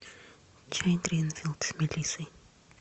чай гринфилд с мелиссой